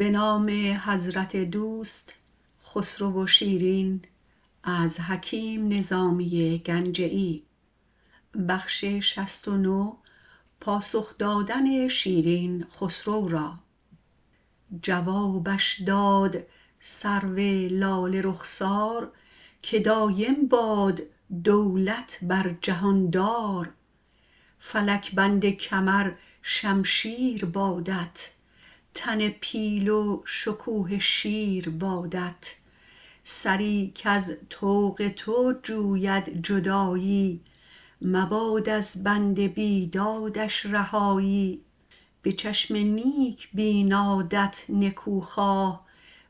جوابش داد سرو لاله رخسار که دایم باد دولت بر جهان دار فلک بند کمر شمشیر بادت تن پیل و شکوه شیر بادت سری کز طوق تو جوید جدایی مباد از بند بیدادش رهایی به چشم نیک بینادت نکوخواه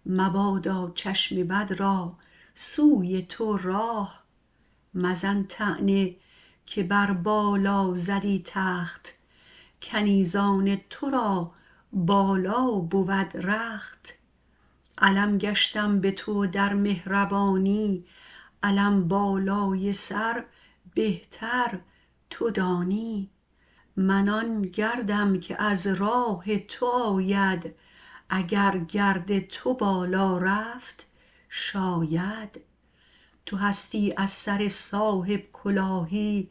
مبادا چشم بد را سوی تو راه مزن طعنه که بر بالا زدی تخت کنیزان تو را بالا بود رخت علم گشتم به تو در مهربانی علم بالای سر بهتر تو دانی من آن گردم که از راه تو آید اگر گرد تو بالا رفت شاید تو هستی از سر صاحب کلاهی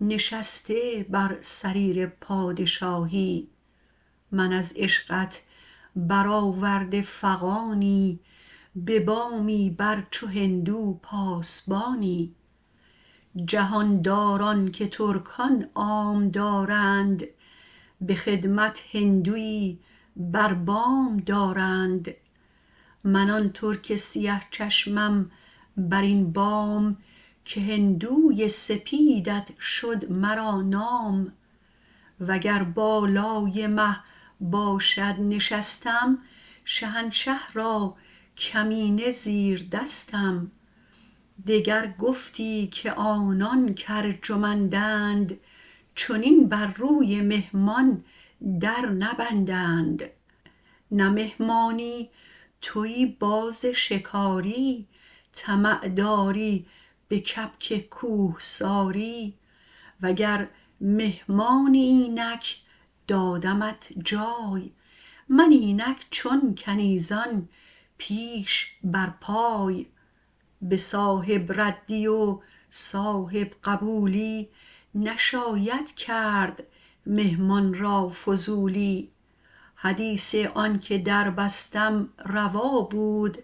نشسته بر سریر پادشاهی من از عشقت برآورده فغانی به بامی بر چو هندو پاسبانی جهان داران که ترکان عام دارند به خدمت هندویی بر بام دارند من آن ترک سیه چشمم بر این بام که هندوی سپیدت شد مرا نام و گر بالای مه باشد نشستم شهنشه را کمینه زیردستم دگر گفتی که آنان که ارجمندند چنین بر روی مهمان در نبندند نه مهمانی تویی باز شکاری طمع داری به کبک کوه ساری و گر مهمانی اینک دادمت جای من اینک چون کنیزان پیش بر پای به صاحب ردی و صاحب قبولی نشاید کرد مهمان را فضولی حدیث آن که در بستم روا بود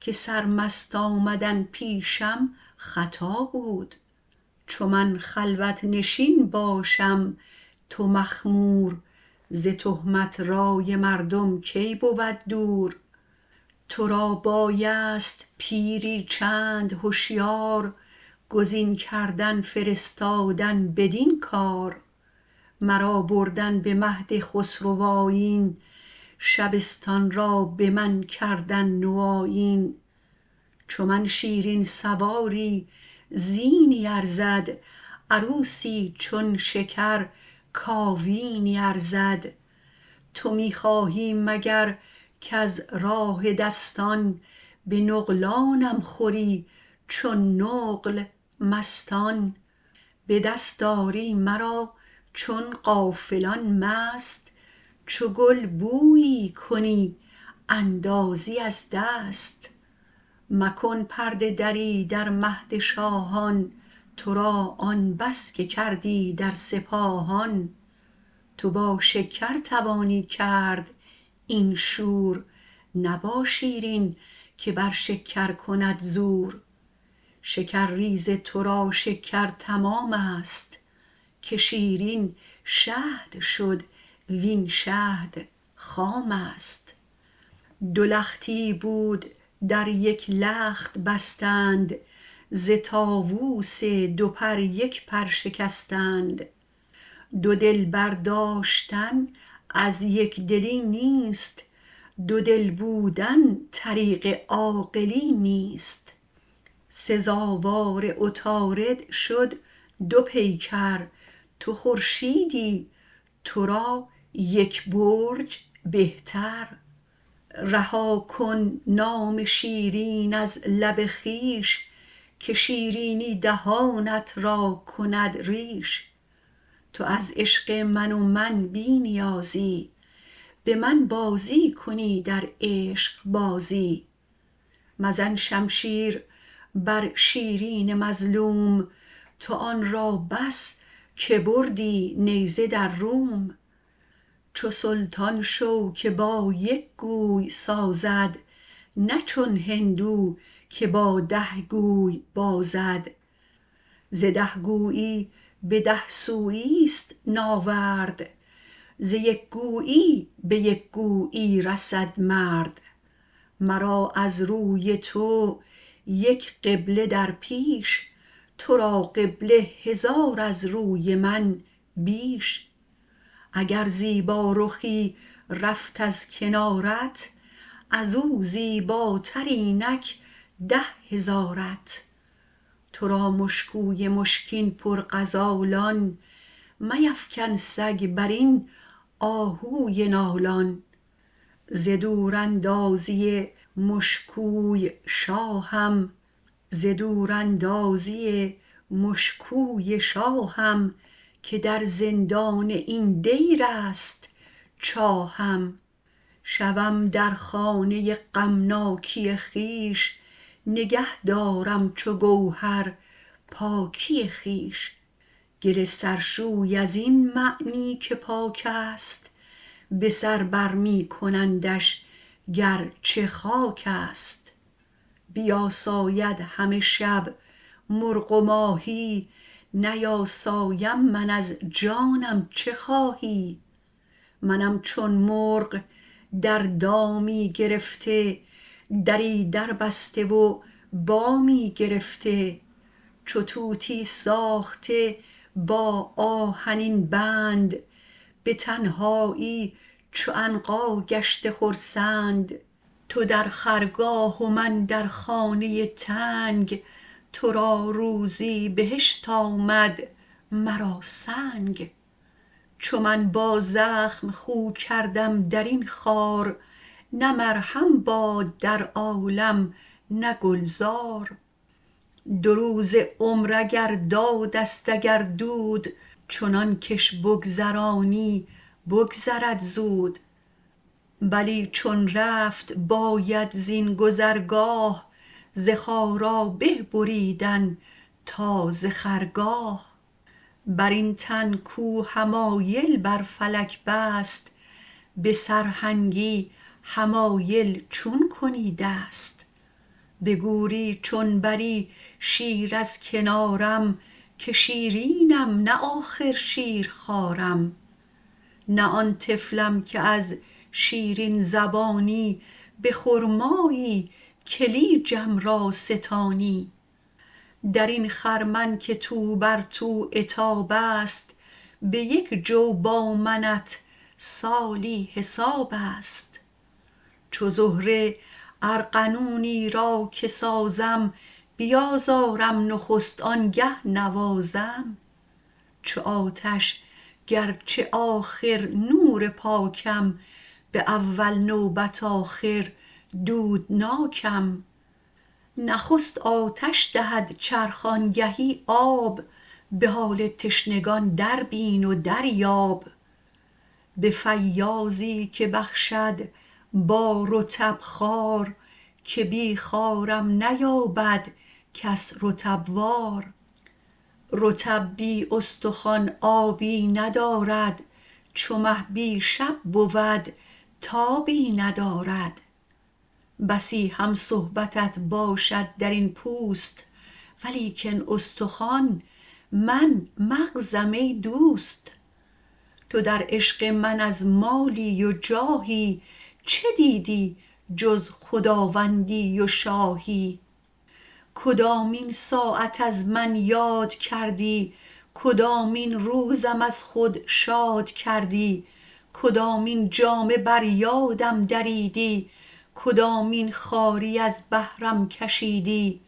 که سرمست آمدن پیشم خطا بود چو من خلوت نشین باشم تو مخمور ز تهمت رای مردم کی بود دور تو را بایست پیری چند هشیار گزین کردن فرستادن بدین کار مرا بردن به مهد خسروآیین شبستان را به من کردن نوآیین چو من شیرین سواری زینی ارزد عروسی چون شکر کاوینی ارزد تو می خواهی مگر کز راه دستان به نقلانم خوری چون نقل مستان به دست آری مرا چون غافلان مست چو گل بویی کنی اندازی از دست مکن پرده دری در مهد شاهان تو را آن بس که کردی در سپاهان تو با شکر توانی کرد این شور نه با شیرین که بر شکر کند زور شکرریز تو را شکر تمام است که شیرین شهد شد وین شهد خام است دو لختی بود در یک لخت بستند ز طاووس دو پر یک پر شکستند دو دلبر داشتن از یک دلی نیست دو دل بودن طریق عاقلی نیست سزاوار عطارد شد دو پیکر تو خورشیدی تو را یک برج به تر رها کن نام شیرین از لب خویش که شیرینی دهانت را کند ریش تو از عشق من و من بی نیازی به من بازی کنی در عشق بازی مزن شمشیر بر شیرین مظلوم تو را آن بس که بردی نیزه در روم چو سلطان شو که با یک گوی سازد نه چون هندو که با ده گوی بازد ز ده گویی به ده سویی است ناورد ز یک گویی به یک گویی رسد مرد مرا از روی تو یک قبله در پیش تو را قبله هزار از روی من بیش اگر زیبارخی رفت از کنارت از او زیبا تر اینک ده هزارت تو را مشکوی مشکین پر غزالان میفکن سگ بر این آهوی نالان ز دوراندازی مشکوی شاهم که در زندان این دیر است چاهم شوم در خانه غمناکی خویش نگه دارم چو گوهر پاکی خویش گل سرشوی از این معنی که پاک است به سر برمی کنندش گر چه خاک است بیاساید همه شب مرغ و ماهی نیاسایم من از جانم چه خواهی منم چون مرغ در دامی گرفته دری دربسته و بامی گرفته چو طوطی ساخته با آهنین بند به تنهایی چو عنقا گشته خرسند تو در خرگاه و من در خانه تنگ تو را روزی بهشت آمد مرا سنگ چو من با زخم خو کردم در این خار نه مرهم باد در عالم نه گل زار دو روز عمر اگر داد است اگر دود چنان کش بگذرانی بگذرد زود بلی چون رفت باید زین گذرگاه ز خارا به بریدن تا ز خرگاه بر این تن کو حمایل بر فلک بست به سرهنگی حمایل چون کنی دست به گوری چون بری شیر از کنارم که شیرینم نه آخر شیرخوارم نه آن طفلم که از شیرین زبانی به خرمایی کلیجم را ستانی در این خرمن که تو بر تو عتاب است به یک جو با منت سالی حساب است چو زهره ارغنونی را که سازم بیازارم نخست آن گه نوازم چو آتش گر چه آخر نور پاکم به اول نوبت آخر دودناکم نخست آتش دهد چرخ آن گهی آب به حال تشنگان دربین و دریاب به فیاضی که بخشد با رطب خار که بی خارم نیابد کس رطب وار رطب بی استخوان آبی ندارد چو مه بی شب بود تابی ندارد بسی هم صحبتت باشد در این پوست ولیکن استخوان من مغزم ای دوست تو در عشق من از مالی و جاهی چه دیدی جز خداوندی و شاهی کدامین ساعت از من یاد کردی کدامین روزم از خود شاد کردی کدامین جامه بر یادم دریدی کدامین خواری از بهرم کشیدی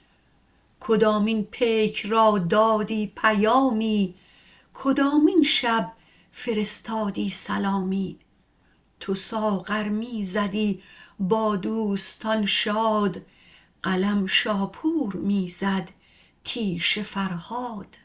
کدامین پیک را دادی پیامی کدامین شب فرستادی سلامی تو ساغر می زدی با دوستان شاد قلم شاپور می زد تیشه فرهاد